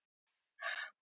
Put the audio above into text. Ír